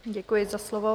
Děkuji za slovo.